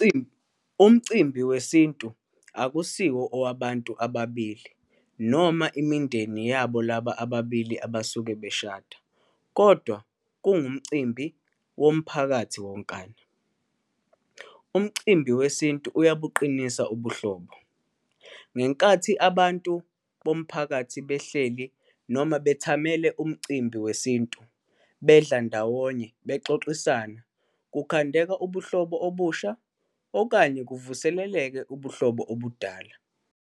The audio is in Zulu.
Umcimbi wesintu akusiwo owabantu ababili noma imindeni yabo laba ababili abasuke beshada, kodwa kungumcimbi womphakathi wonkana. Umcimbi wesintu uyabuqinisa ubuhlobo. Ngenkathi abantu bomphakathi behleli noma bethamele umcimbi wesintu, bedla ndawonye, bexoxisana, kukhandeka ubuhlobo obusha, okanye kuvuseleleke ubuhlobo obudala.